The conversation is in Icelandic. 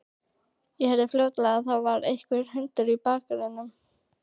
Ég heyrði fljótlega að það var einhver hundur í bakaranum.